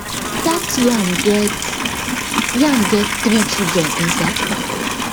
that yam get yam get three children inside ground